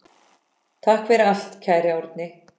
Takk fyrir allt, kæri Árni.